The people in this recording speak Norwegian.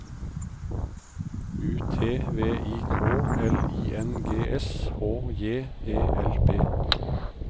U T V I K L I N G S H J E L P